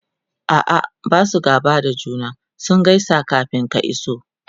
a'a Basu gaba da juna ,sun gaisa kamin ka iso